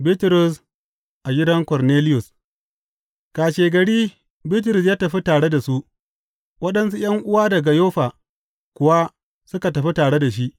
Bitrus a gidan Korneliyus Kashegari Bitrus ya tafi tare da su, waɗansu ’yan’uwa daga Yoffa kuwa suka tafi tare da shi.